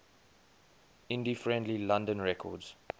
indie friendly london records